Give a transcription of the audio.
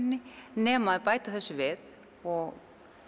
nema þau bæta þessu við og